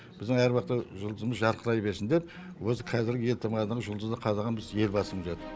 біздің әр уақытта жұлдызымыз жарқырай берсін деп осы қазіргі елтаңбадағы жұлдызды қадаған біздің елбасымыз еді